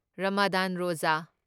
Ramadan ꯔꯣꯓꯥ